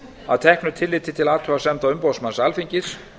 að teknu tilliti til athugasemda umboðsmanns alþingis